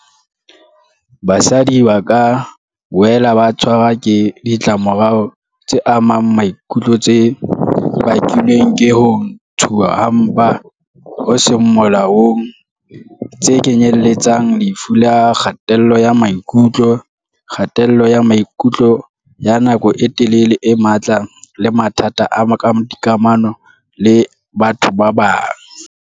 Basadi ba ka boela ba tshwarwa ke ditlamorao tse amang maikutlo tse bakilweng ke ho ntshuwa ha mpa ho seng molaong, tse kenyeletsang lefu la kgatello ya maikutlo, kgatello ya maikutlo ya nako e telele e matla le mathata a dikamano le batho ba bang.